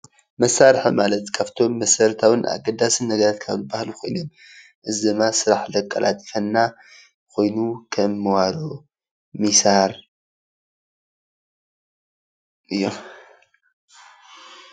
መሳርሒ ማለት ካብቶም መሰረታውን ኣገዳስን ነገር ካብ ዝበሃሉ ኮይኑ እዚ ደማ ስራሕቲ ዘቃላጥፈልና ኮይኑ ከም መዋሮ ፣ሚሳር እዮም።